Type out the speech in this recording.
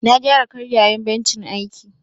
Na gyara karyayan bencin aiki.